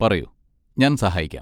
പറയൂ, ഞാൻ സഹായിക്കാം.